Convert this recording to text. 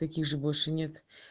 так их же больше нет